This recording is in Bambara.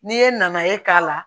N'i ye nanaye k'a la